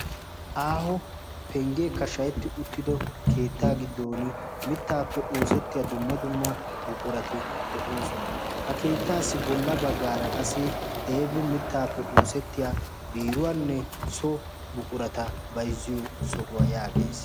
aaho penggeekka shahetti uttido keettaa giddon mittaappe oosettiya dumma dumma buqurati de7oosona. ha keettaassi bolla baggaara qassi deebi mittaappe oosettiya biiruwaanne so buqurata baizziyo sohuwaa yaagees.